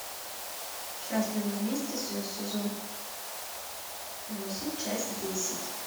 счастливы вместе сезон восемь часть десять